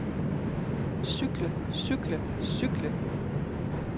cykle cykle cykle